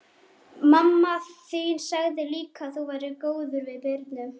Mamma þín sagði líka að þú værir góður við Birnu.